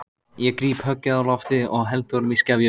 Ég gríp höggið á lofti og held honum í skefjum.